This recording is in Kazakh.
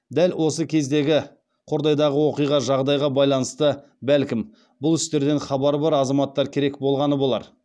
дәл осы кездегі жағдайға байланысты бәлкім бұл істерден хабары бар азаматтар керек болғаны болар